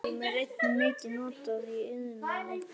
Kalíum er einnig mikið notað í iðnaði.